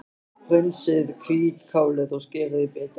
Hreinsið hvítkálið og skerið í bita.